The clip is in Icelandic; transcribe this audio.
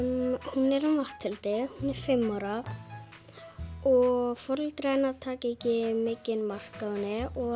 hún er um Matthildi sem er fimm ára og foreldrar hennar taka ekki mikið mark á henni og